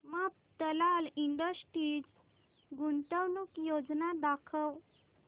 Mafatlal industries गुंतवणूक योजना दाखव